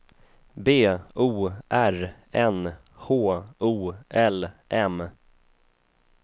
B O R N H O L M